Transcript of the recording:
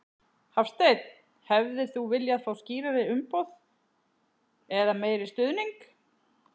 Hafsteinn: Hefðir þú viljað fá skýrari umboð eða meiri stuðning?